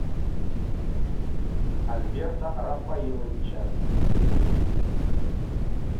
альберта рафаиловича